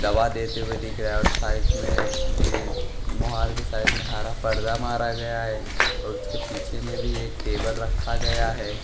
दवा देते हुए दिख रहा है और साइड में मोहार के साइड में हरा पर्दा मारा गया है और उसके पीछे में भी एक टेबल रखा गया है।